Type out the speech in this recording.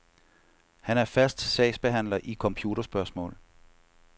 Han er fast sagsbehandler i computerspørgsmål.